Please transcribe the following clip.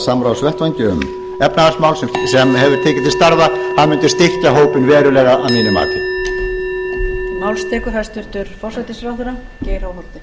samráðsvettvangi árum efnahagsmál sem hefur tekið til starfa það mundi styrkja hópinn verulega að mínu mati